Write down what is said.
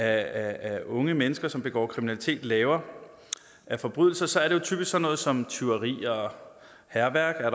af unge mennesker som begår kriminalitet laver af forbrydelser er det typisk sådan noget som tyveri hærværk og